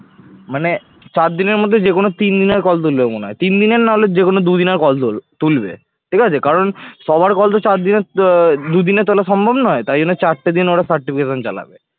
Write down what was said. মানে চারদিনের মধ্যে যেকোনো তিনদিনের call তুলবে মনে হয়। তিন দিনের না হলে যে কোন দুদিনের call তুল তুলবে ঠিক আছে কারণ সবার call তো চার দিনের তা দুদিনে তোলা সম্ভব নয় তাই জন্য চারটে দিন ওরা certification চালাবে